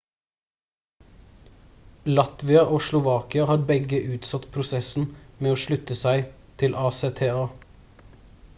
latvia og slovakia har begge utsatt prosessen med å slutte seg til acta